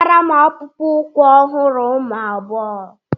Wetara m akpụkpọ ụkwụ ọhụrụ ụmụ agbọghọ